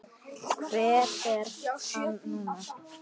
Hver er hann nú?